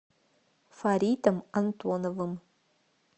фаритом антоновым